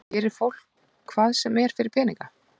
Gerir fólk hvað sem er fyrir peninga?